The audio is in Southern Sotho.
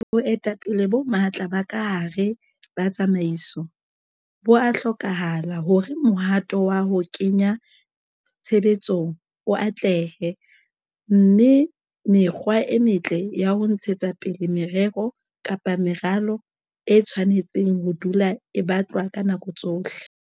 Boetapele bo matla ba ka hare ba tsamaiso bo a hlokahala hore mohato wa ho kenya tshebetsong o atlehe, mme mekgwa e metle ya ho ntshetsa pele merero kapa meralo e tshwanetse ho dula e batlwa ka nako tsohle.